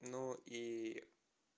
но и